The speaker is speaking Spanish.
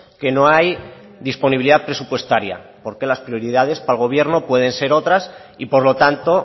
que no hay disponibilidad presupuestaria porque las prioridades para el gobierno pueden ser otras y por lo tanto